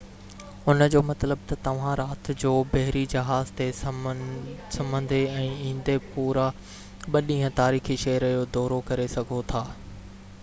ان جو مطلب تہ توهان رات جو بحري جهاز تي سمهندي ۽ ايندي پورا ٻہ ڏينهن تاريخي شهر جو دورو ڪري سگهو ٿا